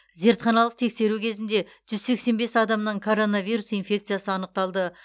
зертханалық тексеру кезінде жүз сексен бес адамнан короновирус инфекциясы анықталды